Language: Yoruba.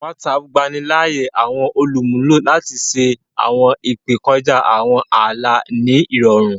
Whatsapp gbani láàyè àwọn olumulo lati ṣe awọn ìpè kọjá àwọn ààlà ní irọrun